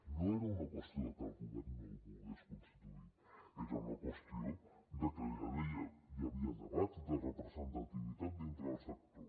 no era una qüestió que el govern no el volgués constituir era una qüestió de que ja hi havia debat de representativitat dintre del sector